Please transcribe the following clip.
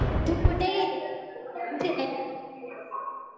तू कुठे फिरायला